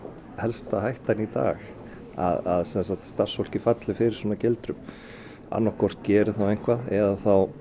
helsta hættan í dag að starfsfólkið falli fyrir svona gildrum annað hvort geri eitthvað eða